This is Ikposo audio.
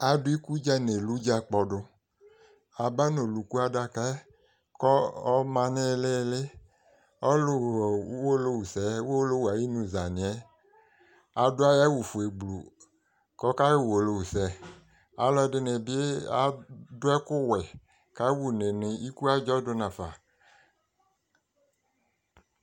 adu ikudza n'eludza kpɔdo aba n'oluku adaka yɛ kò ɔma no ilili ɔlò ɣa uwolowu sɛ uwolowu ayi emu za ni yɛ adu ayi awu fue gblu k'ɔka ɣa uwolowu sɛ ɔlò ɛdini bi adu ɛkò wɛ ka wa une no iku adzɔ do nafa